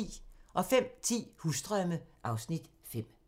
05:10: Husdrømme (Afs. 5)